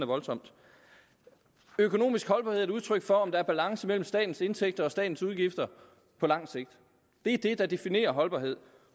voldsomt økonomisk holdbarhed er et udtryk for om der er balance mellem statens indtægter og statens udgifter på lang sigt det er det der definerer holdbarhed